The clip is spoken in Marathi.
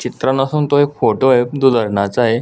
चित्र नसून तो एक फोटोय तो धरणाचा अय--